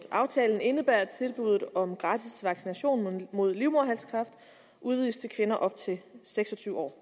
aftalen indebærer at tilbuddet om gratis vaccination mod livmoderhalskræft udvides til kvinder op til seks og tyve år